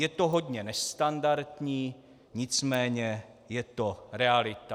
Je to hodně nestandardní, nicméně je to realita.